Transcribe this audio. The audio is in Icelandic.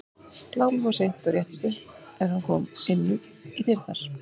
Glámur fór seint og réttist upp er hann kom inn í dyrnar.